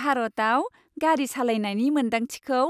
भारताव गारि सालायनायनि मोन्दांथिखौ